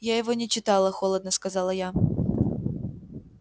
я его не читала холодно сказала я